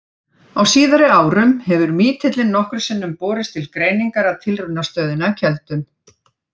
Á síðari árum hefur mítillinn nokkrum sinnum borist til greiningar að Tilraunastöðinni á Keldum.